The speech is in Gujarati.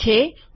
ઠીક છે